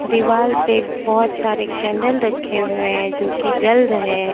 दीवाल पे बहोत सारे कैंडल रखे हुए हैं जो कि जल रहे हैं।